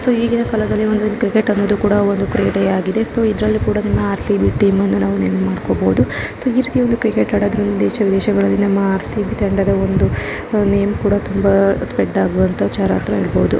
So ಈಗಿನ ಕಾಲದಲ್ಲಿ ಒಂದು ಕ್ರಿಕೆಟ್ ಅನ್ನೋದು ಕೂಡ ಒಂದು ಕ್ರೀಡೆ ಆಗಿದೆ ಸೊ ಇದರಲ್ಲಿ ಕೂಡ ಆರ್.ಸಿ.ಬಿ ಟೀಮ್ ಅನ್ನ ನಾವು ನೆನಪ್ ಮಾಡ್ಕೊಬೋದು ಸೊ ಈ ರಿತಿ ಒಂದು ಕ್ರಿಕೆಟ್ ದೇಶಗಳಲ್ಲಿ ನಮ್ಮ ಆರ್.ಸಿ.ಬಿ ತಂಡದ ಒಂದು ನೇಮ್ ಕೂಡ ತುಂಬಾ ಸ್ಪ್ರೆಡ್ ಆಗುವಂತ ವಿಚಾರ ಅಂತ ಹೇಳಬಹುದು.